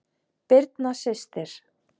Birna systir.